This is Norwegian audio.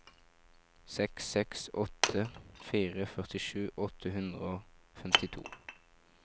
seks seks åtte fire førtisju åtte hundre og femtito